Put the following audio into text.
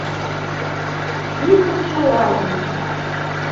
список желаний